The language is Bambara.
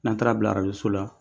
N'a taara bila arajo so la.